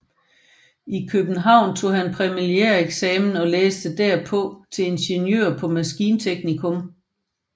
I København tog han præliminæreksamen og læste derpå til ingeniør på maskinteknikum